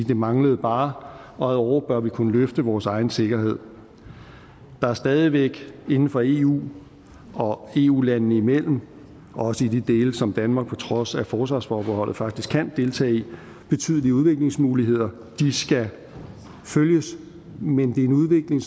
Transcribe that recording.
det manglede bare og ad åre bør vi kunne løfte vores egen sikkerhed der er stadig væk inden for eu og eu landene imellem også i de dele som danmark på trods af forsvarsforbeholdet faktisk kan deltage i betydelige udviklingsmuligheder de skal følges men det er en udvikling